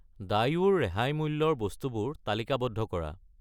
Daewoo ৰ ৰেহাই মূল্যৰ বস্তুবোৰ তালিকাবদ্ধ কৰা।